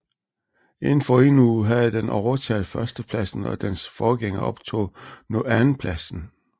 Inden for en uge havde den overtaget førstepladsen og dens forgænger optog nu andenpladsen